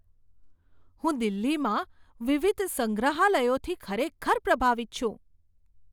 હું દિલ્હીમાં વિવિધ સંગ્રહાલયોથી ખરેખર પ્રભાવિત છું.